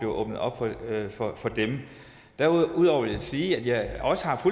åbnet op for dem derudover vil jeg sige at jeg også har